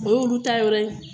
O ye olu taa yɔrɔ ye